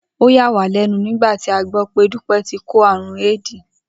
Ó yà wá lé̩nu nígbà tí a gbó̩ pé̩ Dúpé̩ ti kó àrùn éédì